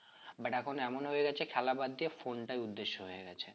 but এখন এমন হয়ে গেছে খেলা বাদ দিয়ে phone টাই উদ্দেশ্য হয়ে গেছে।